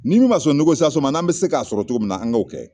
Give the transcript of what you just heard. Ni min ma sɔn ma n'an bɛ se k'a sɔrɔ cogo min na an k'o kɛ